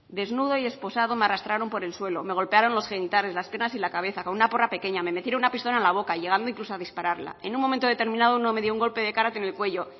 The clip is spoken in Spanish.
desnudo y esposado me arrastraron por el suelo me golpearon los genitales las piernas y la cabeza con una porra pequeña me metieron una pistola en la boca llegando incluso a dispararla en un momento determinado uno me dio un golpe de kárate en el cuello